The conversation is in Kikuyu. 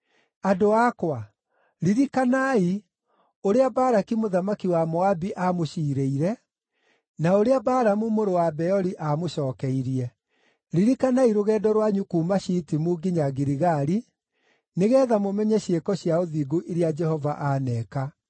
Andũ akwa, ririkanai ũrĩa Balaki mũthamaki wa Moabi aamũciirĩire, na ũrĩa Balamu mũrũ wa Beori aamũcookeirie. Ririkanai rũgendo rwanyu kuuma Shitimu nginya Giligali, nĩgeetha mũmenye ciĩko cia ũthingu iria Jehova aaneka.”